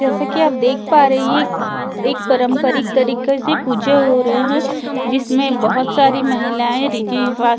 जैसा कि आप देख पा रहे हैं एक परंपरिक तरीके से पूजा हो रहे हैं जिसमें बहुत सारी महिलाएं रीति रिवाज से--